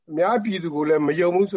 အများပြည်သူကိုလည်း မယုံဘူးဆိ